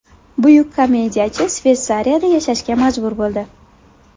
Buyuk komediyachi Shveysariyada yashashga majbur bo‘ldi.